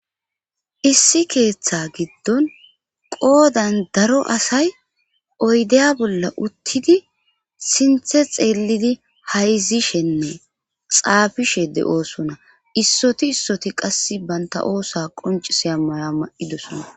issi keeththa giddon qoodan daro asay oydeya bolla uttidi sinthe xeellidi hayzishenne xaafishe de7oosona issoti issoti qass banta oosa qoncise a mana ma7idosona